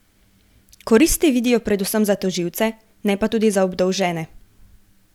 Koristi vidijo predvsem za tožilce, ne pa tudi za obdolžene.